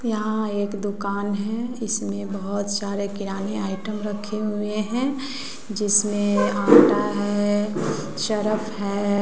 यहां एक दुकान है इसमें बहुत सारे किराने आइटम रखे हुए हैं जिसमें आटा है सरफ है।